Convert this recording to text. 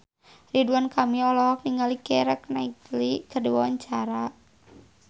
Ridwan Kamil olohok ningali Keira Knightley keur diwawancara